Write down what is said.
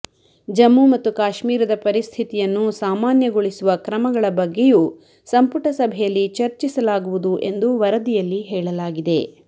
ಜಮ್ಮು ಮತ್ತು ಕಾಶ್ಮೀರದ ಪರಿಸ್ಥಿತಿಯನ್ನು ಸಾಮಾನ್ಯಗೊಳಿಸುವ ಕ್ರಮಗಳ ಬಗ್ಗೆಯೂ ಸಂಪುಟ ಸಭೆಯಲ್ಲಿ ಚರ್ಚಿಸಲಾಗುವುದು ಎಂದು ವರದಿಯಲ್ಲಿ ಹೇಳಲಾಗಿದೆ